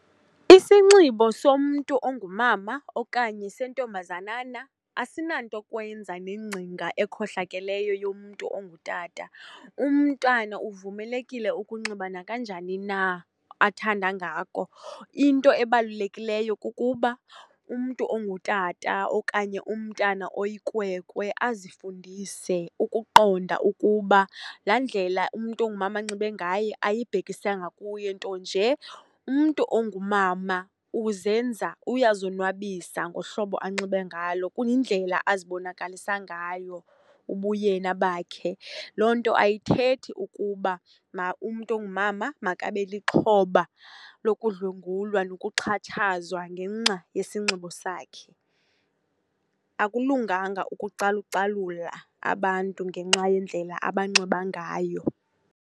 Isinxibo somntu ongumama okanye sentombazanana asinanto yokwenza nengcinga ekhohlakeleyo yomntu ongutata. Umntwana uvumelekile ukunxiba nakanjani na athanda ngako. Into ebalulekileyo kukuba umntu ongutata okanye umntana oyikwekwe azifundise ukuqonda ukuba laa ndlela umntu ongumama anxibe ngaye ayibhekisanga kuye, nto nje umntu ongumama uzenza, uyazonwabisa ngohlobo anxibe ngalo. Kuyindlela azibonakalisa ngayo ubuyena bakhe. Loo nto ayithethi ukuba umntu ongumama makabe lixhoba lokudlwengulwa nokuxhatshazwa ngenxa yesinxibo sakhe. Akulunganga ukucalucalula abantu ngenxa yendlela abanxiba ngayo.